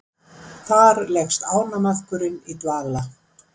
þar leggst ánamaðkurinn í dvala